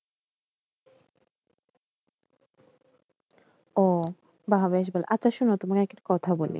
ও বাহ বেশ ভালো আচ্ছা শোনো তোমাকে একটা কথা বলি